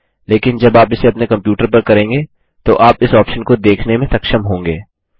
लेकिन जब आप इसे अपने कंप्यूटर पर करेंगे तो आप इस ऑप्शन को देखने में सक्षम होंगे